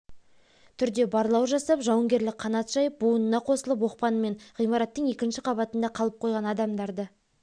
түрде барлау жасап жауынгерлік қанат жайып буынына қосылып оқпанымен ғимараттың екінші қабатында қалып қойған адамдарды